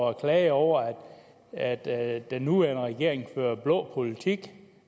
og klager over at at den nuværende regering fører blå politik